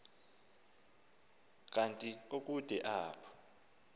kanti kukude apho